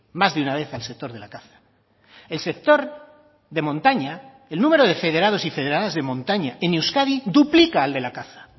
más de una vez al sector de la caza el sector de montaña el número de federados y federadas de montaña en euskadi duplica al de la caza